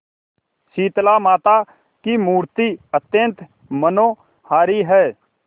शीतलामाता की मूर्ति अत्यंत मनोहारी है